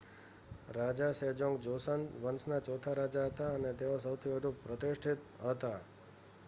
રાજા Sejong Joseon વંશના ચોથા રાજા હતા અને તેઓ સૌથી વધુ પ્રતિષ્ઠિત હતા